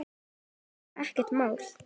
Þetta var bara ekkert mál.